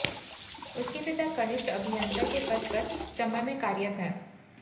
उसके पिता कनिष्ठ अभियंता के पद पर चम्बा में कार्यरत हैं